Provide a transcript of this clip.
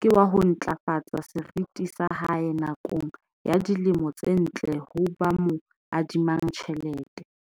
ke wa ho ntlafatsa seriti sa hae nakong ya dilemo tse ntle ho ba mo adimang ditjhelete.